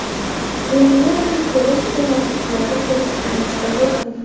Premyeraga kelish-kelmasliklari kelishuvimizda yo‘q edi.